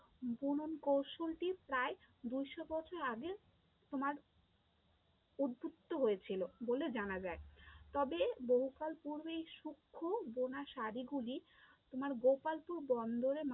বুনন কৌশলটি প্রায় দুইশো বছর আগের তোমার উদ্বুদ্ধ হয়েছিল বলে জানা যায়, তবে বহুকাল পূর্বেই সুক্ষ বোনা শাড়ি গুলি তোমার গোপালপুর বন্দরে